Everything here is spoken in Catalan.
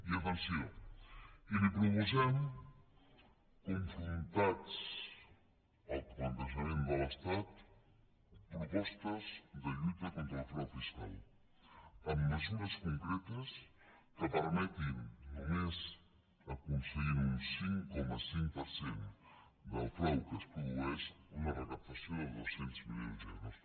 i atenció i li proposem confrontats al plantejament de l’estat propostes de lluita contra el frau fiscal amb mesures concretes que permetin només aconseguint un cinc coma cinc per cent del frau que es produeix una recaptació de dos cents milions d’euros